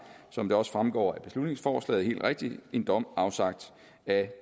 som det også fremgår af beslutningsforslaget helt rigtigt en dom afsagt af